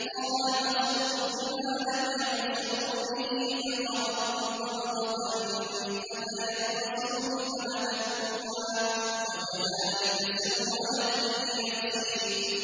قَالَ بَصُرْتُ بِمَا لَمْ يَبْصُرُوا بِهِ فَقَبَضْتُ قَبْضَةً مِّنْ أَثَرِ الرَّسُولِ فَنَبَذْتُهَا وَكَذَٰلِكَ سَوَّلَتْ لِي نَفْسِي